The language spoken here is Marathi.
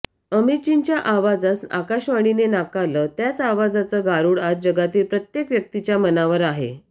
अमितजींच्या आवाजास आकाशवाणीने नाकारलं त्याच आवाजाचं गारुड आज जगातील प्रत्येक व्यक्तीच्या मनावर आहे